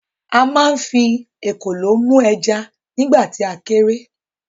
A ma ń fi “ekòló” mú ẹja nígbà tì a kéré.